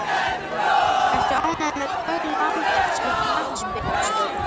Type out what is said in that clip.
Ertu ánægður með Paul Lambert sem knattspyrnustjóra?